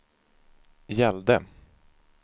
gällde